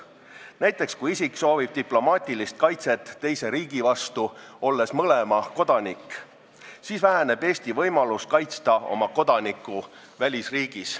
Näiteks, kui isik soovib mõlema riigi kodanikuna diplomaatilist kaitset teise riigi vastu, siis väheneb Eesti võimalus kaitsta oma kodanikku välisriigis.